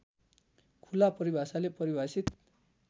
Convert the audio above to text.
खुला परिभाषाले परिभाषित